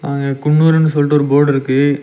அ குன்னூர்னு சொல்ட்டு ஒரு போர்டு இருக்கு.